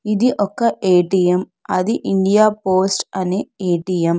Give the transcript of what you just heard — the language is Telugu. ఇది ఒక ఏ_టీ_ఎం అది ఇండియా పోస్ట్ అనే ఏ_టీ_ఎం .